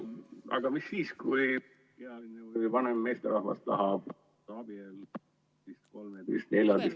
Aga mis siis, kui vanem meesterahvas tahab abielluda ...... kolmeteist-neljateist ...